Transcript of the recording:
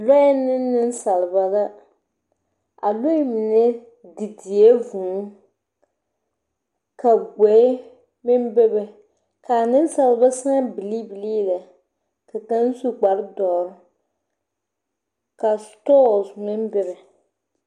Lɔɛɛ ne nensaalba la. A lɔɛɛ mine didie vūū. Ka gboe meŋ bebe. Kaa nensaalba sãã bilii bilii lɛ. Ka kaŋ su kpar dɔɔr, ka setɔɔse meŋ bebe.